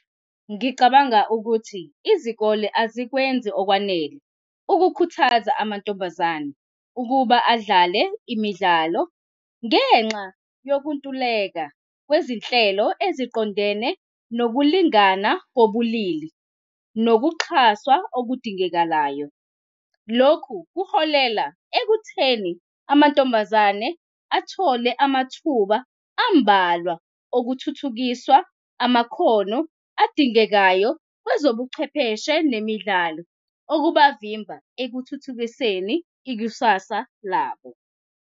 Ngicabanga ukuthi izikole azikwenzi okwanele ukukhuthaza amantombazane ukuba adlale imidlalo ngenxa yokuntuleka kwezinhlelo eziqondene nokulingana kobulili nokuxhaswa okudingekalayo. Lokhu kuholela ekutheni amantombazane athole amathuba ambalwa okuthuthukiswa amakhono adingekayo kwezobuchwepheshe nemidlalo okungabavimba ekuthuthukiseni ikusasa labo.